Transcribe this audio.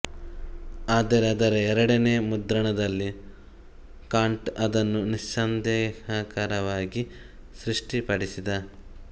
ಆದರೆ ಅದರ ಎರಡನೆಯ ಮುದ್ರಣದಲ್ಲಿ ಕಾಂಟ್ ಅದನ್ನು ನಿಸ್ಸಂದೇಹಕರವಾಗಿ ಸ್ಪಷ್ಟಪಡಿಸಿದ